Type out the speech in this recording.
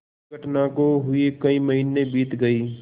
इस घटना को हुए कई महीने बीत गये